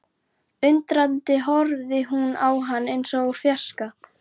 Undrandi horfði hún á hann eins og úr fjarska.